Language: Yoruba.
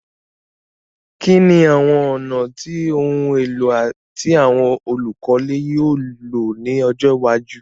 Kíní àwon ònà àti oun élò ti àwon olùkọ́lé yio lo ni ojó iwájú